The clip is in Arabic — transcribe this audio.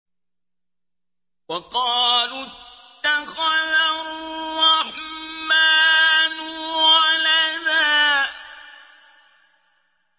وَقَالُوا اتَّخَذَ الرَّحْمَٰنُ وَلَدًا